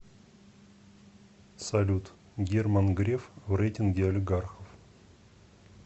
салют герман греф в рейтинге олигархов